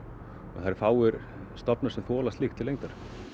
það eru fáir stofnar sem þola slíkt til lengdar